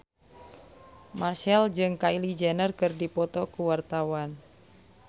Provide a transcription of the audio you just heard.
Marchell jeung Kylie Jenner keur dipoto ku wartawan